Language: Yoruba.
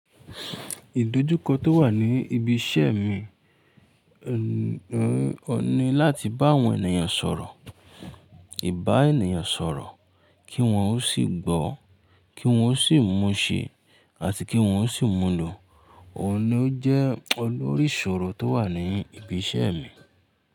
Ìdojúkọ tó wà ní ibi iṣẹ́ mi, oun ní láti bá àwọn ènìyàn sọ̀rọ̀, ìbá ènìyàn sọ̀rọ̀ kí wọ́n ó sì gbọ́, kí wọ́n ó sì mú ṣẹ àti kí wọ́n ó sì múlò. Ọ̀un ní ó jẹ́ olórí ìṣòro tó wà ní ibi iṣẹ́ mi.